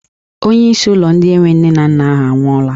Onyeisi ndị ụlọ enwe nne na nna ahụ anwụọla.